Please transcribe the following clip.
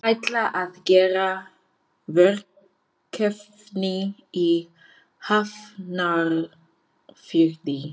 Við ætlum að gera verkefni í Hafnarfirði.